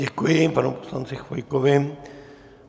Děkuji panu poslanci Chvojkovi.